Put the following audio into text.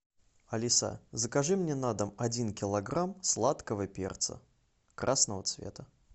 алиса закажи мне на дом один килограмм сладкого перца красного цвета